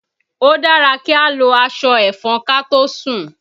Ó dára kí a lo aṣọ ẹ̀fọn kàtósùn.